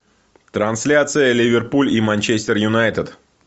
трансляция ливерпуль и манчестер юнайтед